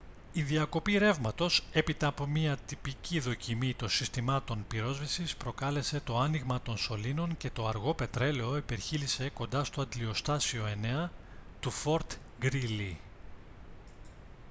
η διακοπή ρεύματος έπειτα από μια τυπική δοκιμή των συστημάτων πυρόσβεσης προκάλεσε το άνοιγμα των σωλήνων και το αργό πετρέλαιο υπερχείλισε κοντά στο αντλιοστάσιο 9 του fort greely